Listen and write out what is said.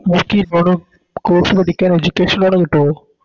നമുക്കി Course പഠിക്കാൻ Education loan കിട്ടുവോ